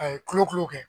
A ye kolokolo kɛ